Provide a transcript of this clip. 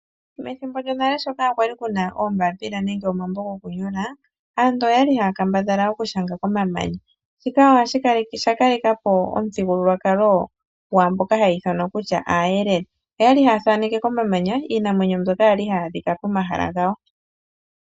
Methimbo lyonale sho kaa kwali ku na ombaapila nenge omambo gokunyolaa, aantu oyali haya kambadhala okushanga komamanya. Shika osha kalelapo omuthigululwakalo gwaamboka haya ithanwa kutya aayelele. Oyali haya thaneke komamanya iinamwenyo mboka ya li hayi adhika pomahala gawo.